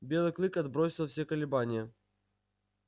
белый клык отбросил все колебания